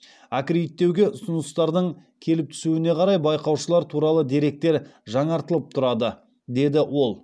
аккредиттеуге ұсыныстардың келіп түсуіне қарай байқаушылар туралы деректер жаңартылып тұрады деді ол